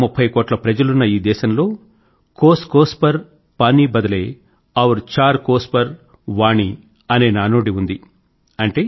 130 కోట్ల ప్రజలున్న ఈ దేశం లో कोसकोस पर पानी बदले और चार कोस पर वाणी అనే నానుడి ఉండేది